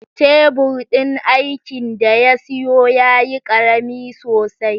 Tebur din aikin da ya siyo yayi ƙarami sosai